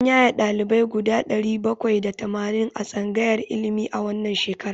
An yaye ɗalibai guda ɗari bakwai da tamanin a tsangayar ilimi a wannan shekara.